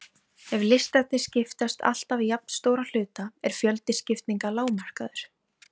Ef listarnir skiptast alltaf í jafnstóra hluta er fjöldi skiptinga lágmarkaður.